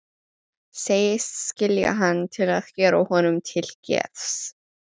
Segist skilja hann til að gera honum til geðs.